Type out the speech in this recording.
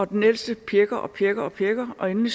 den ældste pjækker og pjækker pjækker og endelig